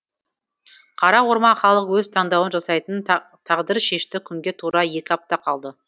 қара орман халық өз таңдауын жасайтын тағдыршешті күнге тура екі апта қалды